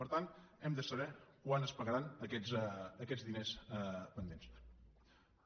per tant hem de saber quan es pagaran aquests diners pendents